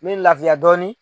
Me lafiya dɔɔni